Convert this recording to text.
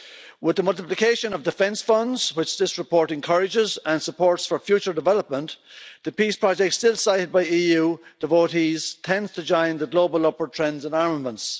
With the multiplication of defence funds, which this report encourages and supports for future development, the peace project still cited by EU devotees tends to join the global upward trends in armaments.